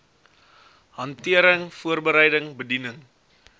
hantering voorbereiding bediening